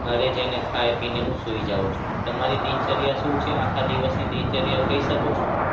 ઘરે જઈને ખાઈ-પીને હું સુઈ જાઉં છું. તમારી દિનચર્યા શું છે? આખા દિવસની દિનચર્યા કહી શકો છો?